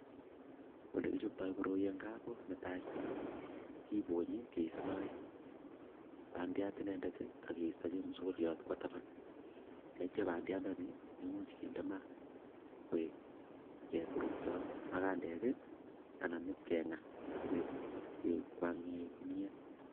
Ole kichoptoi koroi eng gaa, ko netai, ko kiponyi keistoi bandiat inendet akiesto chemasikoriot kwaa taban tetyo bandiandani komuch kinde maat koek kepurkto magandek anan ipkengaa sikoek ken]kwanye kimnyet.